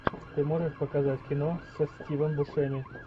ты можешь показать кино со стивом бушеми